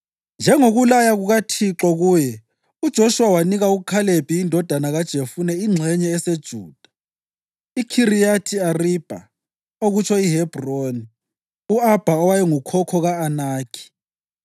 Njengokulaya kukaThixo kuye, uJoshuwa wanika uKhalebi indodana kaJefune ingxenye eseJuda, iKhiriyathi Aribha, okutsho iHebhroni (u-Abha wayengukhokho ka-Anakhi).